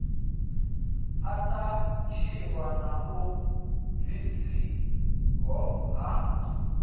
athatshiwa na u bvisiho ha